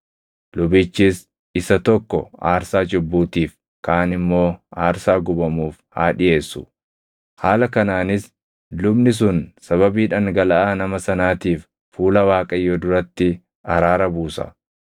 Lubichis isa tokko aarsaa cubbuutiif kaan immoo aarsaa gubamuuf haa dhiʼeessu. Haala kanaanis lubni sun sababii dhangalaʼaa nama sanaatiif fuula Waaqayyoo duratti araara buusa.